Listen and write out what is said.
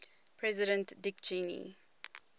president dick cheney